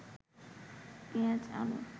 পেঁয়াজ, আলু